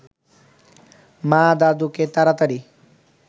মা দাদুকে তাড়াতাড়ি